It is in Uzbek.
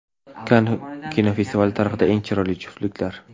Kann kinofestivali tarixidagi eng chiroyli juftliklar .